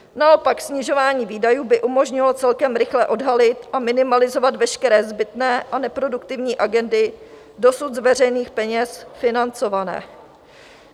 Naopak snižování výdajů by umožnilo celkem rychle odhalit a minimalizovat veškeré zbytné a neproduktivní agendy dosud z veřejných peněz financované.